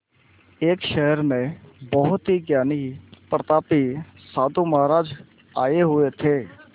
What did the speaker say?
एक शहर में बहुत ही ज्ञानी प्रतापी साधु महाराज आये हुए थे